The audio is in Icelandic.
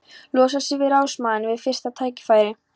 Losa sig við ráðsmanninn við fyrsta tækifæri.